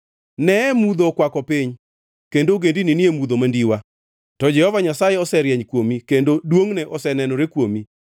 Neye mudho okwako piny, kendo ogendini ni e mudho mandiwa, to Jehova Nyasaye oserieny kuomi kendo duongʼne osenenore kuomi.